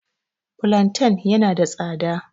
Fulanten ya na da tsada